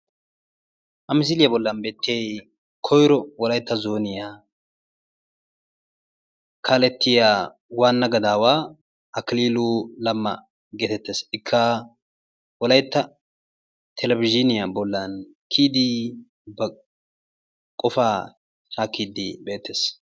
Ha misiliyaa bollan beettiyayi koyiro wolaytta zooniyaa kaalettiyaa waanna gadaawaa akililu lemma geetettes. Ikka wolayitta televizhiiniyaa bollan kiyidii ba qofaa shaakkiidi beettes.